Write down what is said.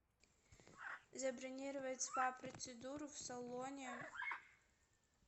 забронировать спа процедуру в салоне